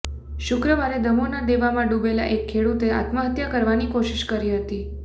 શુક્રવારે દમોહના દેવામાં ડૂબેલા એક ખેડૂતે આત્મહત્યા કરવાની કોશિશ કરી હતી